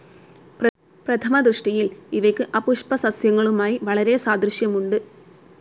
പ്രഥമ ദൃഷ്ടിയിൽ ഇവയ്ക്കു അപുഷ്പിസസ്യങ്ങളുമായി വളരെ സാദൃശ്യമുണ്ട്.